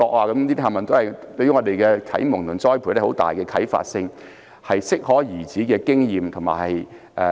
這些啟蒙和栽培對我們有很大的啟發性，都是適可而止的經驗。